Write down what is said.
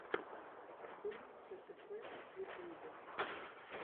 дум хтф в ютьюбе